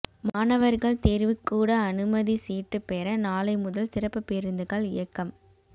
மாணவர்கள் தேர்வுக்கூட அனுமதி சீட்டு பெற நாளை முதல் சிறப்பு பேருந்துகள் இயக்கம்